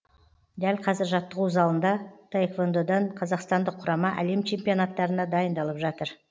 дәл қазір жаттығу залында таэквондодан қазақстандық құрама әлем чемпионаттарына дайындалып жатыр